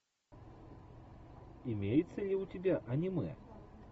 имеется ли у тебя аниме